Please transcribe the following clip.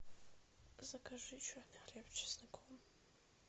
закажи черный хлеб с чесноком